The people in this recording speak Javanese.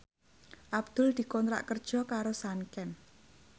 Abdul dikontrak kerja karo Sanken